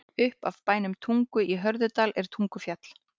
Upp af bænum Tungu í Hörðudal er Tungufjall.